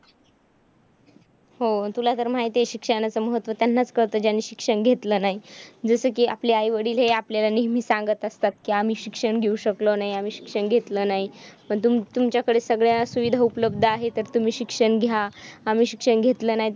हो, तुला तर माहिती आहे शिक्षणाचं महत्त्व त्यानांचं कळतं ज्यांनी शिक्षण घेतलं नाही, जसे की आपले आईवडील. हे आपल्याला नेहमीचं सांगतं असतात की आम्ही शिक्षण घेऊ शकलो नाही. आम्ही शिक्षण घेतलं नाही. पण तुम तुमच्याकडे सगळ्या सुविधा उपलब्ध आहेत तर तुम्ही शिक्षण घ्या. आम्ही शिक्षण घेतलं नाही,